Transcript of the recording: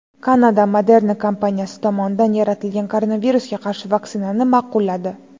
Kanada Moderna kompaniyasi tomonidan yaratilgan koronavirusga qarshi vaksinani ma’qulladi.